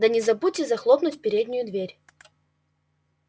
да не забудьте захлопнуть переднюю дверь